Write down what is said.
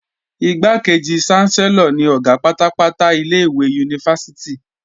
Igbákejì ṣánsẹ́lọ̀ ni Ọ̀gá pátápátá ilé-ìwé yunifásítì